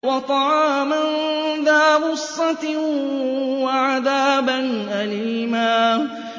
وَطَعَامًا ذَا غُصَّةٍ وَعَذَابًا أَلِيمًا